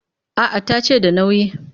A'a ta ce da nauyi